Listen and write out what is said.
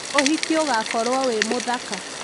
ũhiki ũgakorwo wĩ mũthaka